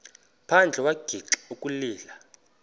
phandle wagixa ukulila